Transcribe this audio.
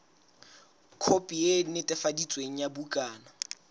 khopi e netefaditsweng ya bukana